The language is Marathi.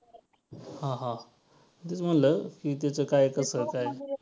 हां हां तेच म्हंटल की त्याचं काय कसं काय.